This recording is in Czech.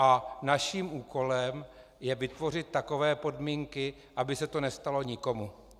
A naším úkolem je vytvořit takové podmínky, aby se to nestalo nikomu.